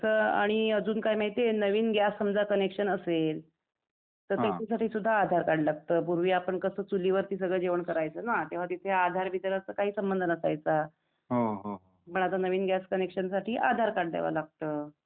तसं आणि अजून काय माहिती आहे, नवीन गॅस समजा कनेक्शन असेल तर त्याच्यासाठी सुद्धा आधार कार्ड लागत, पूर्वी आपण कस चुलीवरती सगळ जेवण करायचं ना, तेव्हा तिथे आधार बिधार असा काही संबंध नसायचा, पण आता नवीन गॅस कनेक्शनसाठी आधार कार्ड द्याव लागत